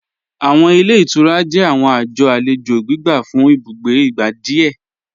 Awọn ilẹ̀ ìtúrà jẹ̀ awọn ajọ̀ alẹjo gbígbà fún ìbùgbé igbá díẹ̀.